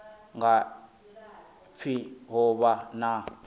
nga pfi ho vha na